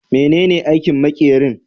Menene aikin makerin?